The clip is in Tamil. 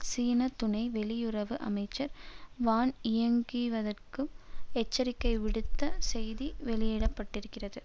சீன துணை வெளியுறவு அமைச்சர் வான்இயாங்கியாங்கிற்கு எச்சரிக்கைவிடுத்த செய்தி வெளியிட பட்டிருக்கிறது